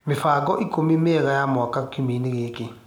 mĩbango ikũmi mienga ya mwanya kĩũmiainĩ gĩkĩ